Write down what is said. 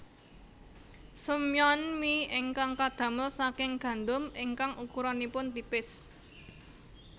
Somyeon mi ingkang kadamel saking gandum ingkang ukuranipun tipis